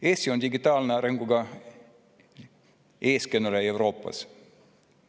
Eesti on digitaalse arengu eestkõneleja Euroopas.